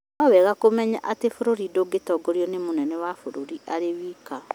no nĩwega kũmenya atĩ bũrũri ndũtongoragio nĩ mũnene wa bũrũri arĩ wika